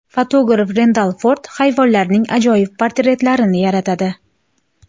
Fotograf Rendal Ford hayvonlarning ajoyib portretlarini yaratadi.